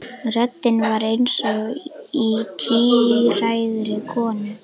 Röddin var eins og í tíræðri konu.